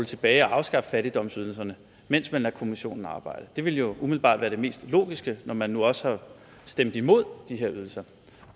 tilbage og afskaffe fattigdomsydelserne mens man lod kommissionen arbejde det ville jo umiddelbart være det mest logiske når man nu også har stemt imod de her ydelser